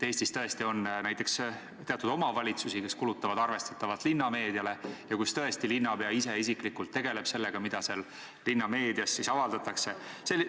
Eestis on näiteks teatud omavalitsusi, kes kulutavad arvestatavalt linnameediale ja kus tõesti linnapea ise isiklikult tegeleb sellega, mida linnameedias avaldatakse.